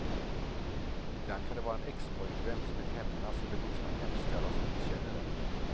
Ibland kan det vara en expojkvän som vill hämnas eller vuxna knäppskallar som inte känner en.